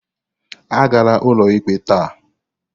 Agala ụlọikpe taa!